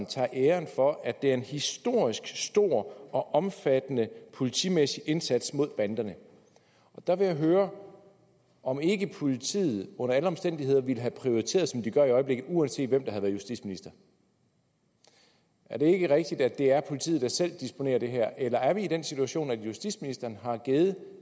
tager æren for at det er en historisk stor og omfattende politimæssig indsats mod banderne der vil jeg høre om ikke politiet under alle omstændigheder ville have prioriteret som de gør i øjeblikket uanset hvem der havde været justitsminister er det ikke rigtigt at det er politiet der selv disponerer i det her eller er vi i den situation at justitsministeren har givet